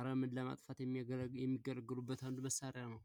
አረመን ለማጥፋት የሚገለገሉበት አንዱ መሳሪያ ነው።